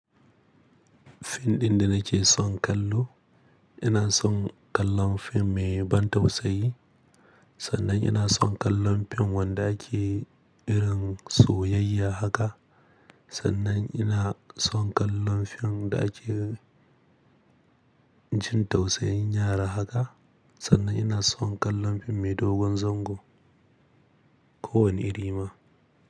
Fim ɗin da na ce son kallo, ina son kallon fim mai ban tausayi, sannan ina son kallon fim wanda ake irin soyayya haka, sannan ina son kallon fim da ake jin tausayin yara haka, sannan ina son kallon fim mai dogon zango ko wani iri ma.